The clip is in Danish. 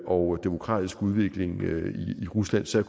og demokratisk udvikling i rusland så